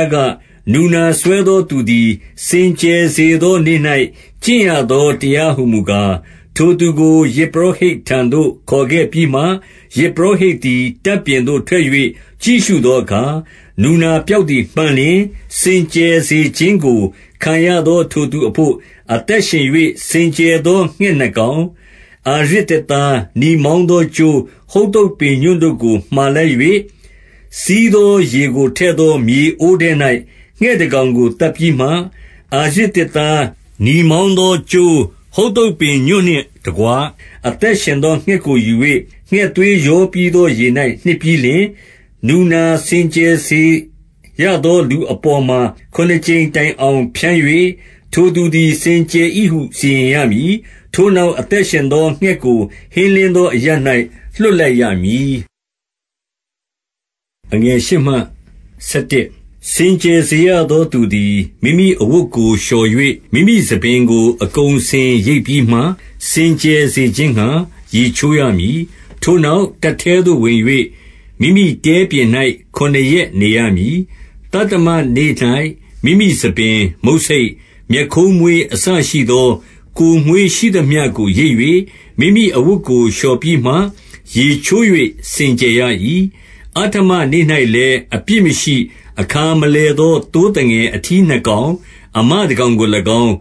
ားက၊ - နူနာစွဲသောသူသည် စင်ကြယ်စေသောနေ့၌ ကျင့်ရသော တရားဟူမူကား၊- 3 ထိုသူကို ယဇ်ပုရောဟိတ်ထံသို့ ခေါ်ခဲ့ပြီးမှ ယဇ်ပုရောဟိတ်သည် တပ်ပြင်သို့ထွက်၍ ကြည့်ရှုသော အခါ၊ နူနာပျောက်သည်မှန်လျှင်၊- 4 စင်ကြယ်စေခြင်းကို ခံရသောထိုသူအဘို့၊ အသက်ရှင်၍ စင်ကြယ်သော ငှက်နှစ်ကောင်၊ အာရဇ်သစ် သား၊ နီမောင်းသောကြိုး၊ ဟု ဿုပ်ပင်ညွန့်တို့ကို မှာလိုက်၍၊- 5 စီးသောရေကိုထည့်သော မြေအိုးထဲ၌ ငှက်တကောင်ကို သတ်စေပြီးမှ၊- 6 အာရဇ်သစ်သား၊ နီမောင်းသောကြိုး၊ ဟု ဿုပ်ပင်ညွန့်နှင့်တကွ အသက်ရှင်သော ငှက်ကိုယူ၍၊ ငှက်သွေးရောပြီးသော ရေ၌နှစ်ပြီးလျှင်၊- 7 နူနာစင်ကြယ်စေရသော လူအပေါ်မှာ ခုနစ်ကြိမ်တိုင်အောင် ဖြန်း၍၊ ထိုသူသည် စင်ကြယ်သည်ဟု စီရင်ရမည်။ ထိုနောက် အသက်ရှင်သော ငှက်ကို ဟင်းလင်းသော အရပ်၌ လွှတ်လိုက်ရမည်။ 8 စင်ကြယ်စေရသော သူသည် မိမိအဝတ်ကို လျှော်၍၊ မိမိဆံပင်ကို အကုန်အစင် ရိတ်ပြီးမှ၊ စင်ကြယ် စေခြင်းငှါ ရေချိုးရမည်။ ထိုနောက်၊ တပ်ထဲသို့ ဝင်၍၊ မိမိတဲပြင်၌ ခုနစ်ရက်နေရမည်။ 9 သတ္တမနေ့၌ မိမိဆံပင်၊ မုတ်ဆိတ်၊ မျက်ခုန်းမွေး အစရှိသော ကိုယ်မွေးရှိသမျှကို ရိတ်၍၊ မိမိအဝတ်ကို လျှော်ပြီးမှ၊ ရေချိုး၍ စင်ကြယ်ရ၏။ 10 အဋ္ဌမနေ့၌လည်း၊ အပြစ်မရှိ၊ အခါမလည်သော သိုးသငယ်အထီးနှစ်ကောင်၊ အမတကောင်ကို၎င်း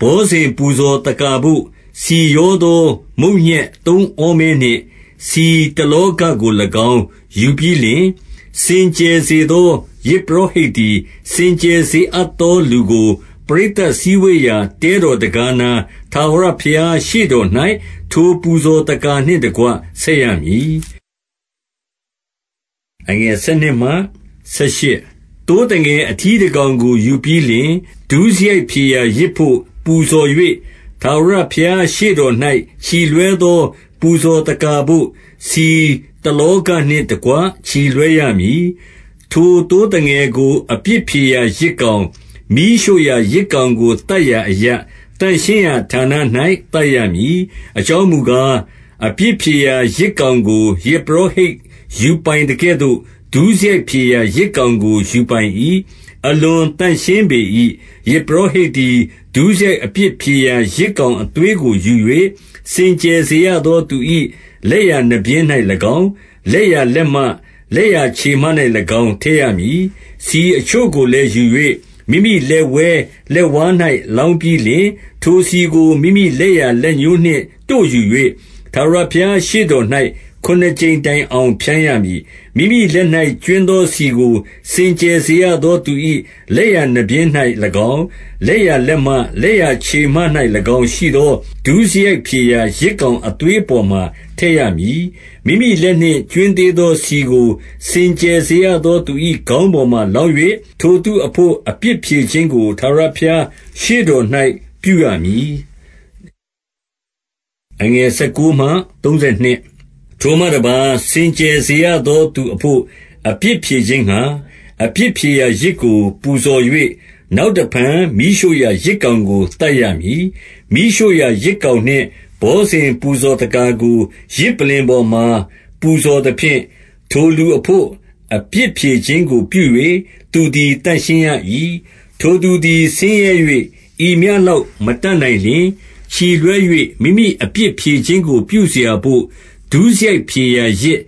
၊ ဘောဇဉ်ပူဇော်သက္ကာဘို့၊ ဆီရောသော မုန့်ညက်သုံးဩမဲနှင့် ဆီတလောဃကို၎င်း ယူပြီးလျှင်၊ 11 စင်ကြယ်စေသော ယဇ်ပုရောဟိတ်သည်၊ စင်ကြယ်စေအပ်သော လူကို၊ ပရိသတိစည်းဝေးရာ တဲတော်တံခါးနား၊ ထာဝရဘုရားရှေ့တော်၌ ထိုပူဇော်သက္ကာနှင့်တကွ ဆက်ရမည်။ 12 သိုးသငယ်အထီးတကောင်ကို ယူပြီးလျှင် ဒုစရိုက်ဖြေရာယဇ်ဘို့ ပူဇော်၍၊ ထာဝရဘုရားရှေ့တော် ၌ ချီလွှဲသော ပူဇော်သက္ကာဘို့ ဆီတလောဃနှင့်တကွ ချီလွှဲရမည်။ 13 ထိုသိုးသငယ်ကို အပြစ်ဖြေရာ ယဇ်ကောင်၊ မီးရှို့ရာယဇ်ကောင်ကို သတ်ရာအရပ်၊ သန့်ရှင်းရာဌာန ၌ သတ်ရမည်။ အကြောင်းမူကား၊ အပြစ်ဖြေရာ ယဇ်ကောင်ကို၊ ယဇ်ပုရောဟိတ် ယူပိုင်သကဲ့သို့ ဒုစရိုက်ဖြေရာယဇ်ကောင်ကို ယူပိုင်၏။ အလွန်သန့်ရှင်းပေ၏။ 14 ယဇ်ပုရောဟိတ်သည် ဒုစရိုက်အပြစ်ဖြေရာ ယဇ်ကောင်အသွေးကိုယူ၍ စင်ကြယ်စေရသောသူ၏ လက်ျာနားပျဉ်း၌၎င်း၊ လက်ျာလက်မ၊ လက်ျာခြေမ၌၎င်း၊ ထည့်ရမည်။ 15 ဆီအချို့ကိုလည်း ယူ၍၊ မိမိလက်ဝဲလက်ဝါး၌ လောင်းပြီးလျှင်၊- 16 ထိုဆီကို မိမိလက်ျာလက်ညှိုးနှင့် တို့ယူ၍ ထာဝရဘုရားရှေ့တော်၌ ခုနစ်ကြိမ်တိုင်အောင် ဖြန်းရမည်။ 17 မိမိလက်၌ ကြွင်းသောဆီကို စင်ကြယ်စေရသော သူ၏ လက်ျာနားပျဉ်း၌၎င်း၊ လက်ျာလက်မ၊ လက်ျာခြေမ၌၎င်းရှိသော ဒုစရိုက်ဖြေရာ ယဇ်ကောင်အသွေးအပေါ်မှာ ထည့်ရမည်။ 18 မိမိလက်၌ ကြွင်းသေးသောဆီကို၊ စင်ကြယ်စေရသော သူ၏ခေါင်းပေါ်မှာ လောင်း၍ ထိုအဘို့ အပြစ်ဖြေခြင်းကို ထာဝရဘုရားရှေ့တော်၌ ပြုရမည်။ 19 ထိုမှတပါး၊ စင်ကြယ်စေရသော သူအဘို့ အပြစ်ဖြေခြင်းငှါ၊ အပြစ်ဖြေရာယဇ်ကို ပူဇော်၍၊ နောက် တဖန် မီးရှို့ရာယဇ်ကောင်ကို သတ်ရမည်။ 20 မီးရှို့ရာယဇ်ကောင်နှင့် ဘောဇဉ်ပူဇော်သက္ကာကို ယဇ်ပလ္လင်ပေါ်မှာ ပူဇော်သဖြင့် ထိုလူအဘို့ အပြစ်ဖြေခြင်းကို ပြု၍ သူသည်သန့်ရှင်းရ၏။ 21 ထိုသူသည် ဆင်းရဲ၍ ဤမျှလောက်မတတ်နိုင်လျှင်၊ ချီလွှဲ၍ မိမိအပြစ်ဖြေခြင်းကို ပြုစရာဘို့၊ ဒုစရိုက်ဖြေရာယဇ်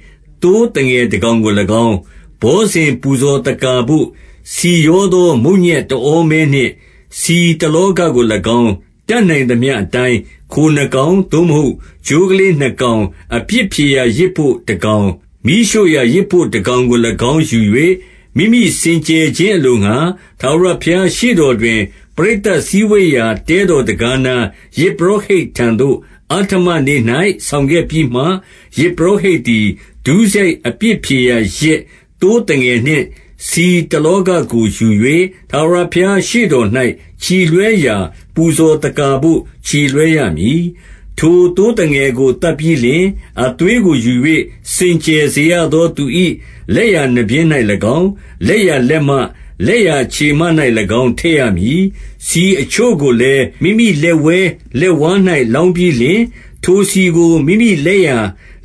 သိုးငယ်တကောင်ကို၎င်း၊ ဘောဇဉ်ပူဇော်သက္ကာဘို့ ဆီရောသော မုန့်ညက်တဩ မဲနှင့် ဆီတလောဃကို၎င်း၊- 22 တတ်နိုင်သမျှအတိုင်း၊ ခိုနှစ်ကောင်၊ သို့မဟုတ် ချိုးကလေးနှစ်ကောင်၊ အပြစ်ဖြေရာ ယဇ်ဘို့တကောင်၊ မီးရှို့ရာယဇ်ဘို့တကောင်ကို၎င်း ယူ၍၊ 23 မိမိစင်ကြယ်ခြင်းအလိုငှါ၊ ထာဝရဘုရားရှေ့တော်တွင် ပရိသတ်စည်းဝေးရာ တဲတော်တံခါးနား၊ ယဇ်ပုရောဟိတ်ထံသို့၊ အဋ္ဌမနေ့၌ ဆောင်ခဲ့ပြီးမှ၊- 24 ယဇ်ပုရောဟိတ်သည် ဒုစရိုက်အပြစ်ဖြေရာ ယဇ်သိုးသငယ်နှင့်ဆီတလောဃကို ယူ၍ ထာဝရဘုရား ရှေ့တော်၌ ချီလွှဲရာ၊ ပူဇော်သက္ကာဘို့ ချီလွှဲရမည်။ 25 ထိုသိုးသငယ်ကို သတ်ပြီးလျှင်၊ အသွေးကိုယူ၍ စင်ကြယ်စေရသောသူ၏ လက်ျာနားပျဉ်း၌၎င်း၊ လက်ျာလက်မ၊ လက်ျာခြေမ၌၎င်း ထည့်ရမည်။ 26 ဆီအချို့ကိုလည်း မိမိလက်ဝဲလက်ဝါး၌ လောင်းပြီးလျှင်၊- 27 ထိုဆီကို မိမိလက်ျာ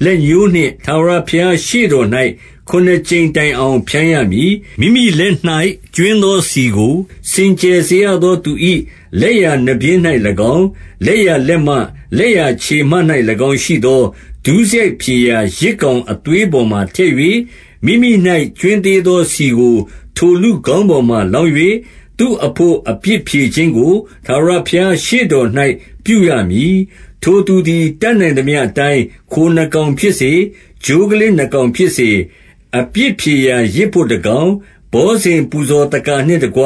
လက်ညှိုးနှင့် ထာဝရဘုရားရှေ့တော်၌ ခုနစ်ကြိမ်တိုင်အောင် ဖြန်းရမည်။ 28 မိမိလက်၌ ကြွင်းသောဆီကို စင်ကြယ်စေရသောသူ၏ လက်ျာနားပျဉ်း၌၎င်း၊ လက်ျာလက်မ၊ လက်ျာ ခြေမ၌၎င်း ရှိသော ဒုစရိုက်ဖြေရာ ယဇ်ကောင်အသွေးပေါ်မှာထည့်၍၊ 29 မိမိ၌ကြွင်းသေးသောဆီကို ထိုလူခေါင်းအပေါ်မှာ လောင်း၍၊ သူ့အဘို့ အပြစ်ဖြေခြင်းကို ထာဝရဘုရား ရှေ့တော်၌ ပြုရမည်။ 30 ထိုသူသည် တတ်နိုင်သမျှအတိုင်း ခိုနှစ်ကောင်ဖြစ်စေ၊ ချိုးကလေးနှစ်ကောင်ဖြစ်စေ၊- 31 အပြစ်ဖြေရာယဇ်ဘို့ တကောင်၊ ဘောဇဉ်ပူဇော်သက္ကာနှင့်တကွ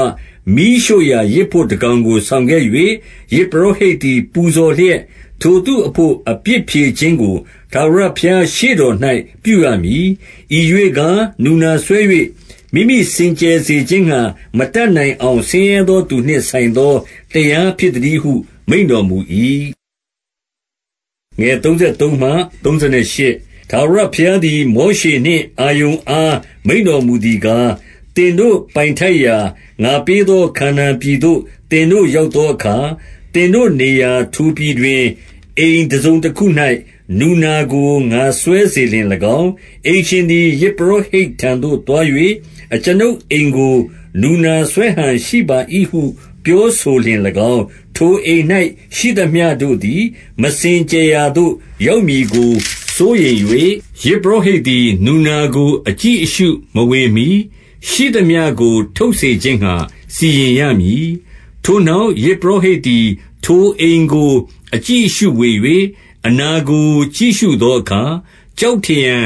မီးရှို့ရာယဇ်ဘို့တကောင်ကို ဆောင်ခဲ့၍၊ ယဇ်ပုရောဟိတ်သည် ပူဇော်လျက်၊ ထိုသူအဘို့ အပြစ်ဖြေခြင်းကို ထာဝရဘုရား ရှေ့တော်၌ ပြုရမည်။ 32 ဤရွေ့ကား၊ နူနာစွဲ၍ မိမိစင်ကြယ်စေ မိမိစင်ကြယ်စေခြင်းငှါ မတတ်နိုင်အောင် ဆင်းရဲသောသူနှင့် ဆိုင်သော တရားဖြစ်သတည်းဟု မိန့်တော်မူ၏။ 33 ထာဝရဘုရားသည် မောရှေနှင့် အာရုန်အား မိန့်တော်မူသည်ကား၊- 34 သင်တို့ ပိုင်ထိုက်ရာ၊ ငါပေးသော ခါနာန်ပြည်သို့ သင်တို့ရောက်သောအခါ၊ သင်တို့နေရာ ထိုပြည်တွင် အိမ်ထစုံတခု၌ နူနာကို ငါစွဲစေလျှင်၎င်း၊- 35 အိမ်ရှင်သည် ယဇ်ပုရောဟိတ်ထံသို့သွား၍၊ အကျွန်ုပ်အိမ်ကို နူနာစွဲဟန်ရှိပါ၏ဟု ပြောဆိုလျှင်၎င်း၊- 36 ထိုအိမ်၌ရှိသမျှတို့သည်၊ မစင်ကြယ်ရာသို့ ရောက်မည်ကို စိုးရိမ်၍၊ ယဇ်ပုရောဟိတ်သည် နူနာက အကြည့်အရှုမဝင်မှီ၊ ရှိသမျှကို ထုတ်စေခြင်းငှါ စီရင်ရမည်။ ထိုနောက် ယဇ်ပုရောဟိတ်သည် ထိုအိမ်ကို အကြည့်အရှုဝင်၍၊- 37 အနာကို ကြည့်ရှုသောအခါ၊ ကျောက်ထရံ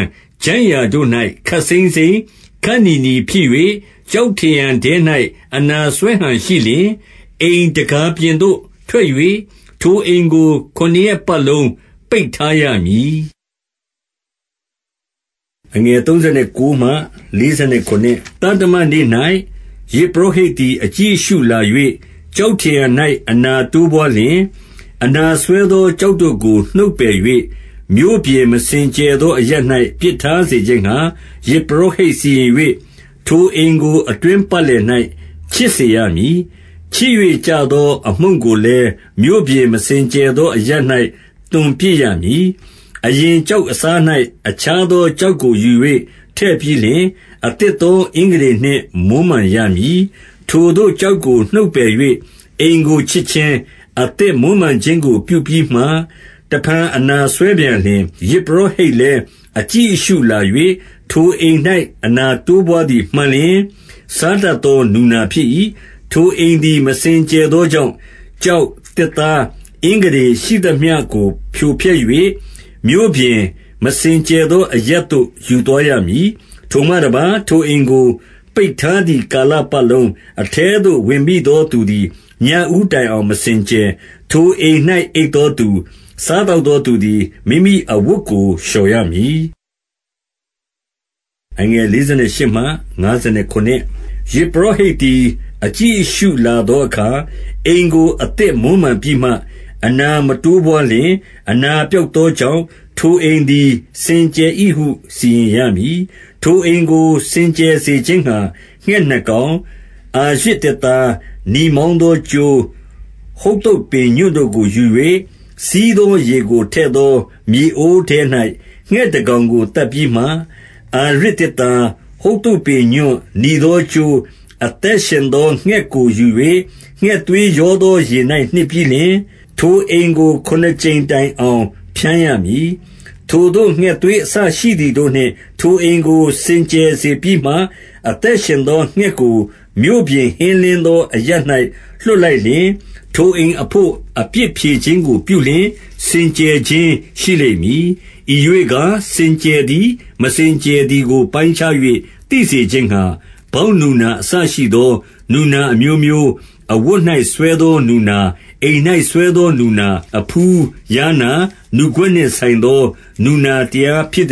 ချိုင့်ရာတို့၌ ခပ်စိမ်းစိမ်း၊ ခပ်နီနီဖြစ်၍၊ ကျောက်ထရံထဲ၌ အနာစွဲဟန်ရှိလျှင်၊ - 38 အိမ်တံခါးပြင်သို့ ထွက်၍၊ ထိုအိမ်ကို ခုနစ်ရက်ပတ်လုံး ပိတ်ထားရမည်။ 39 သတ္တမနေ့၌ ယဇ်ပုရောဟိတ်သည် အကြည့်အရှုလာ၍၊ ကျောက်ထရံ၌ အနာတိုးပွားလျှင်၊ 40 အနာစွဲသော ကျောက်တို့ကို နှုတ်ပယ်၍၊ မြို့ပြင်မစင်ကြယ်သော အရပ်၌ ပစ်ထားစေခြင်းငှါ ယဇ် ပုရောဟိတ်စီရင်၍၊ 41 ထိုအိမ်ကို အတွင်းပတ်လည်၌ ခြစ်စေရမည်။ ခြစ်၍ကျသော အမှုန့်ကိုလည်း မြို့ပြင်မစင်ကြယ် သောအရပ်၌ သွန်ပစ်ရမည်။ 42 အရင်ကျောက်အစား၌ အခြားသော ကျောက်ကိုယူ၍ ထည့်ပြီးလျှင်၊ အသစ်သော အင်္ဂတေနှင့် မွမ်းမံရမည်။ 43 ထိုသို့ ကျောက်ကို နှုတ်ပယ်၍ အိမ်ကိုခြစ်ခြင်း၊ အသစ်မွမ်းမံခြင်းကို ပြုပြီးမှ၊ တဖန် အနာစွဲ ပြန်လျှင်၊- 44 ယဇ်ပုရောဟိတ်လည်း အကြည့်အရှုလာ၍ ထိုအိမ်၌ အနာတိုးပွါးသည် မှန်လျှင်၊ စားတတ်သော နူနာဖြစ်၏။ 45 ထိုအိမ်သည် မစင်ကြယ်သောကြောင့်၊- ကျောက်၊ သစ်သား၊ မင်္ဂတေရှိသမျှကို ဖြိုဖျက်၍၊ မြို့ပြင် မစင်ကြယ်သော အရပ်သို့ ယူသွားရမည်။ 46 ထိုမှတပါး၊ ထိုအိမ်ကို ပိတ်ထားသည် ကာလပတ်လုံး၊ အထဲသို့ ဝင်မိသောသူသည်၊ ညဦးတိုင်အောင် မစင်ကြယ်။ 47 ထိုအိမ်၌ အိပ်သောသူ၊ စားသောက်သောသူသည်၊ မိမိအဝတ်ကို လျှော်ရမည်။ 48 ယဇ်ပုရောဟိတ်သည် အကြည့်အရှုလာသောအခါ၊ အိမ်ကို အသစ်မွမ်းမံပြီးမှ အနာမတိုးပွါးလျှင်၊ အနာပျောက်သောကြောင့် ထိုအိမ်သည် စင်ကြယ်၏ဟု စီရင်ရမည်။ 49 ထိုအိမ်ကို စင်ကြယ်စေခြင်းငှါ ငှက်နှစ်ကောင်၊ အာရဇ်သစ်သား၊ နီမောင်းသောကြိုး၊ဟု ဿုပ်ပင်ညွန့် တို့ကိုယူ၍၊- 50 စီးသောရေကို ထည့်သောမြေအိုးထဲ၌ ငှက်တကောင်ကို သတ်ပြီးမှ၊ 51 အာရဇ်သစ်သား၊ဟု ဿုပ်ပင်ညွှန့်၊ နီသောကြိုး၊ အသက်ရှင်သော ငှက်ကို ယူ၍ ငှက်သွေးရောသော ရေ၌ နှစ်ပြီးလျှင်၊ ထိုအိမ်ကို ခုနစ်ကြိမ်တိုင်အောင် ဖြန်းရမည်။ 52 ထိုသို့ ငှက်သွေးအစရှိသည်တို့နှင့် ထိုအိမ်ကို စင်ကြယ်စေပြီးမှ၊- 53 အသက်ရှင်သော ငှက်ကို မြို့ပြင် ဟင်းလင်းသောအရပ်၌ လွှတ်လိုက်၍၊ ထိုအိမ်အဘို့၊ အပြစ်ဖြေ ခြင်းကို ပြုလျှင်၊ စင်ကြယ်ခြင်း ရှိလိမ့်မည်။ 54 ဤရွေ့ကား၊ စင်ကြယ်သည်၊ မစင်ကြယ်သည်ကို ပိုင်းခြား၍ သိစေခြင်းငှါ၊ ဗောက်နူနာအစရှိသော နူနာအမျိုးမျိုး၊ အဝတ်၌ စွဲသောနူနာ၊ အိမ်၌စွဲသောနူနာ၊ အဖူး၊ ယားနာ၊ နူကွက်နှင့်ဆိုင်သော နူနာတရားဖြစ်သ